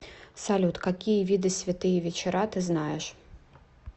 салют какие виды святые вечера ты знаешь